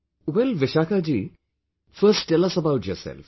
WellVishakha ji, first tell us about yourself